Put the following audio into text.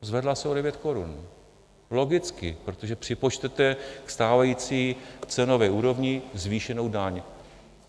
Zvedla se o 9 korun, logicky, protože připočtete ke stávající cenové úrovni zvýšenou daň.